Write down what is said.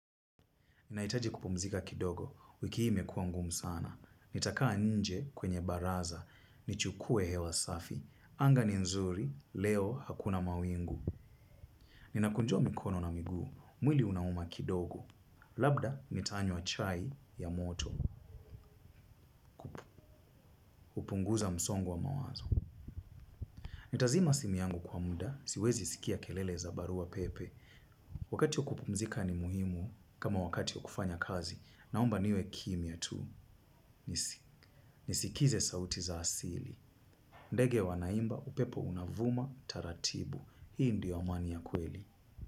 Ninahitaji kupumzika kidogo, wiki hii imekua ngumu sana. Nitakaa nje kwenye baraza, nichukue hewa safi, anga ni nzuri, leo hakuna mawingu. Ninakunjua mikono na miguu, mwili unauma kidogo. Labda, nitanywa chai ya moto, hupunguza msongo wa mawazo. Nitazima simu yangu kwa muda, siwezi sikia kelele za barua pepe. Wakati wa kupumzika ni muhimu kama wakati wa kufanya kazi, naomba niwe kimya tu. Nisikize sauti za asili. Ndege wanaimba upepo unavuma taratibu. Hii ndio amani ya kweli.